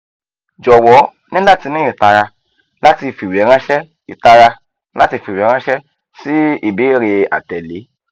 jọwọ ni lati ni itara lati fiweranṣẹ itara lati fiweranṣẹ si ibeere atẹle